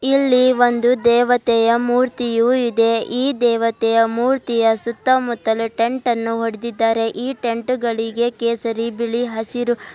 ಇಲ್ಲಿ ಒಂದು ದೇವತೆಯ ಮೂರ್ತಿಯು ಇದೆ ಈ ದೇವತೆಯ ಮೂರ್ತಿಯ ಸುತ್ತಮುತ್ತಲೂ ಟೆಂಟನ್ನು ಹೊಡೆದಿದ್ದಾರೆ ಈ ಟೆಂಟುಗಳಿಗೆ ಕೇಸರಿ ಬಿಳಿ ಹಸಿರು--